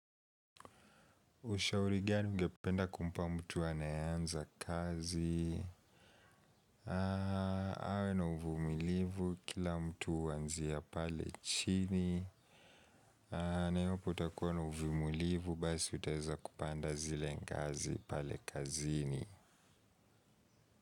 Ushaurigani ungependa kumpa mtu anayeanza kazi. Awe na uvumilivu kila mtu huanzia pale chini. Na iwapo utakuwa na uvumilivu basi utaweza kupanda zile ngazi pale kazini.